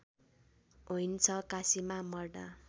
होइन्छ काशीमा मर्दा